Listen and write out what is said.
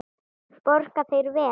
Borga þeir vel?